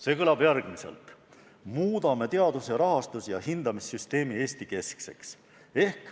See kõlab järgmiselt: muudame teaduse rahastus- ja hindamissüsteemi Eesti-keskseks.